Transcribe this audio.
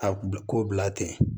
A kun bɛ ko bila ten